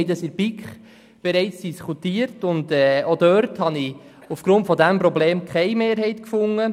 Wir haben dies in der BiK bereits diskutiert, und auch dort habe ich aufgrund dieses Problems keine Mehrheit gefunden.